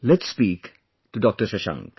Let's speak to Dr Shashank